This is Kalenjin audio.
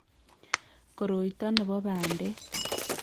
Koroito ne bo bandek